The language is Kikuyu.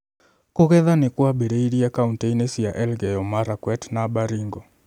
Kũgetha nĩ kwambĩrĩirie kauntĩ-inĩ cia Elgeyo Marakwet na Baringo